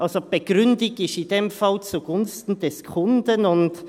Die Begründung ist in diesem Fall «zugunsten des Kunden».